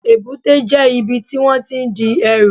Èbúté jẹ́ ibi tí wón tí n di ẹrù